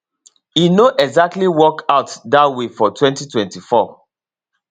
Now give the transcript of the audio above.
e no exactly work out dat way for 2024